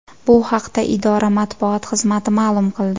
Bu haqda idora matbuot xizmati ma’lum qildi .